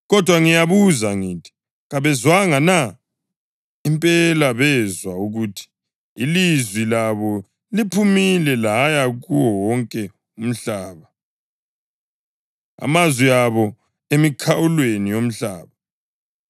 Kodwa ngiyabuza ngithi: Kabezwanga na? Impela bezwa ukuthi: “Ilizwi labo liphumile laya kuwo wonke umhlaba, amazwi abo emikhawulweni yomhlaba.” + 10.18 AmaHubo 19.4